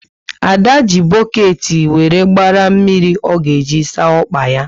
Ada ji boketi wéré gbara mmiri ọ ga eji saa ọkpa yá